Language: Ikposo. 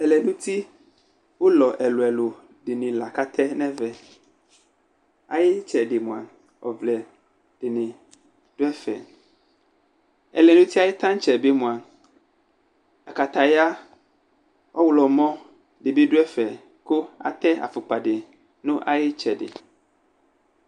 Ɛlɛnuti ʋlɔ ɛlʋ ɛlʋ dɩnɩ lakʋ atɛ nʋ ɛvɛ Ayʋ ɩtsɛdɩ mʋa ɔvlɛ dɩnɩ dʋ ɛfɛ Ɛlɛnuti ayʋ taŋtse bɩ mʋa, aktataya ɔɣlɔmɔ dɩ bɩ dʋ ɛfɛ, kʋ atɛ afukpa dɩ nʋ ayu ɩtsɛdɩ